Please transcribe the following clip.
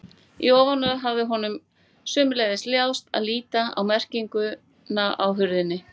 Í ofanálag hafði honum sömuleiðis láðst að líta á merkinguna á hurðinni.